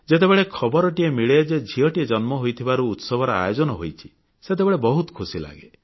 ଯେତେବେଳେ ଖବରଟିଏ ମିଳେ ଯେ ଝିଅଟିଏ ଜନ୍ମ ହୋଇଥିବାରୁ ଉତ୍ସବର ଆୟୋଜନ ହୋଇଛି ସେତେବେଳେ ବହୁତ ଖୁସି ଲାଗେ